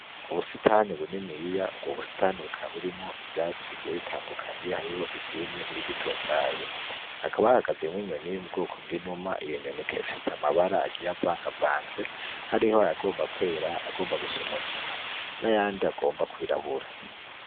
Ubusitani buniniya, ubwo busitani bukaba burimwo ibiti bigiye bitandukanye. Hariho ivyumye n'ibigitotahaye. Hakaba hahagazemwo inyoni iri mu bwoko bw'inuma. Iyo nyoni ikaba ifise amabara agiye avangavanze. Hariho ayagomba kwera, ayagomba gusa umugina, n'ayandi agomba kwirabura.